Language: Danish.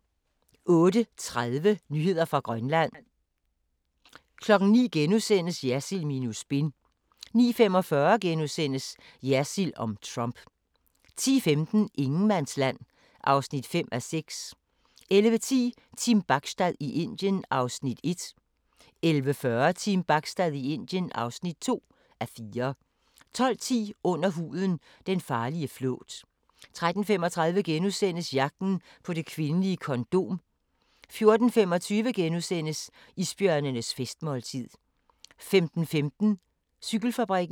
08:30: Nyheder fra Grønland 09:00: Jersild minus spin * 09:45: Jersild om Trump * 10:15: Ingenmandsland (5:6) 11:10: Team Bachstad i Indien (1:4) 11:40: Team Bachstad i Indien (2:4) 12:10: Under huden – den farlige flåt 13:35: Jagten på det kvindelige kondom * 14:25: Isbjørnenes festmåltid * 15:15: Cykelfabrikken